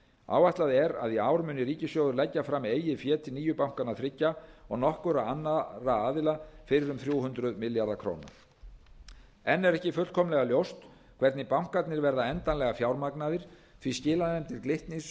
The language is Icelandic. áætlað er að í ár muni ríkissjóður leggja fram eigið fé til nýju bankanna þriggja og nokkurra annarra aðila fyrir um þrjú hundruð milljarða króna enn er ekki fullkomlega ljóst hvernig bankarnir verða endanlega fjármagnaðir því skilanefndir glitnis